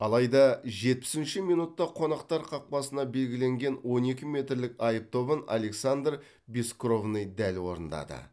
алайда жетпісінші минутта қонақтар қақпасына белгіленген он екі метрлік айып добын александр бескровный дәл орындады